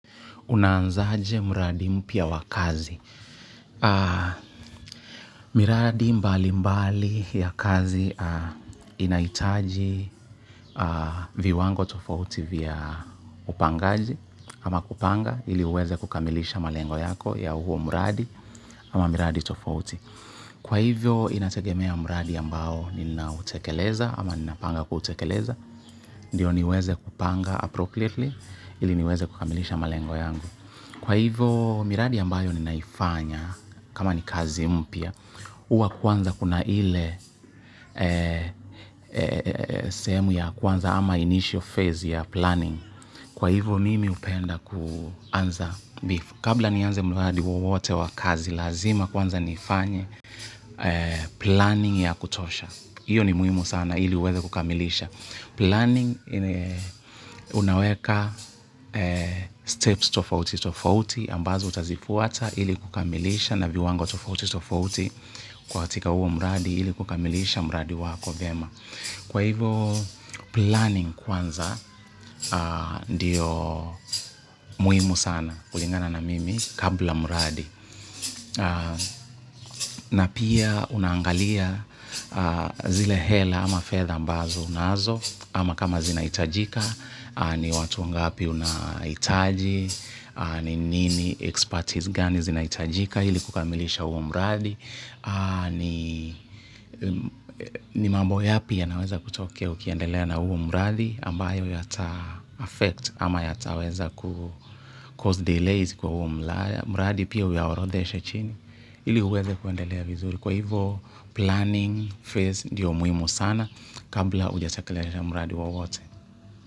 Unaanzaje mradi mpya wa kazi. Miradi mbali mbali ya kazi inahitaji viwango tofauti vya upangaji ama kupanga ili uweze kukamilisha malengo yako ya huo mradi ama miradi tofauti. Kwa hivyo inategemea mradi ambao ninautekeleza ama ninapanga kutekeleza ndio niweze kupanga appropriately ili niweze kukamilisha malengo yangu. Kwa hivyo miradi ambayo ninaifanya kama ni kazi mpya, huwa kwanza kuna ile sehemu ya kwanza ama initial phase ya planning. Kwa hivyo mimi hupenda kuanza bifu. Kabla nianze miradi wowote wa kazi, lazima kwanza nifanye planning ya kutosha. Hiyo ni muhimu sana ili uweze kukamilisha. Planning, unaweka steps tofauti tofauti ambazo utazifuata ili kukamilisha na viwango tofauti tofauti katika huo mradi ili kukamilisha mradi wako vyema. Kwa hivyo planning kwanza ndiyo muhimu sana kulingana na mimi kabla mradi na pia unaangalia zile hela ama fedha ambazo unazo ama kama zinahitajika. Ni watu ngapi unahitaji, ni nini expertise gani zinahitajika ili kukamilisha huo mradi ni mambo yapi yanaweza kutokea ukiendelea na huo mradi ambayo yata affect ama yataweza ku cause delays kwa huo mradi pia uyaorodheshe chini ili uweze kuendelea vizuri kwa hivyo planning phase ndiyo muhimu sana kabla hujatekeleza mradi wowote.